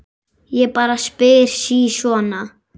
Ég bara spyr sí svona.